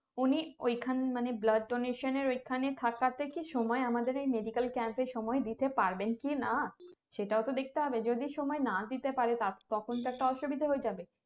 উনি ঐখান মানে blood donation এর ঐখানে থাকাতে কি সময় আমাদের এই medical camp এ সময় দিতে পারবেন কি না সেটাও তো দেখতে হবে যদি সময় না দিতে পারে তখন তো একটা অসুবিধা হয়ে যাবে